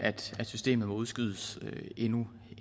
systemet må udskydes endnu